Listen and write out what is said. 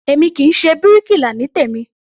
Èmi kì í ṣe bíríkilà ní tèmí.